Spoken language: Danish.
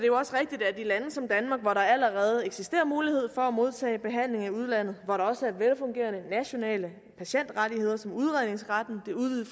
jo også rigtigt at i lande som danmark hvor der allerede eksisterer mulighed for at modtage behandling i udlandet og hvor der også er velfungerende nationale patientrettigheder som udredningsretten